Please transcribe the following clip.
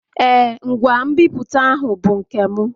Ee, ngwa nbipute ahụ bụ nke m.